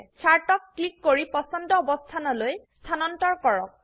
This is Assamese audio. চাৰ্টক ক্লিক কৰিপছন্দ অবস্থানলৈ স্হানান্তৰ কৰক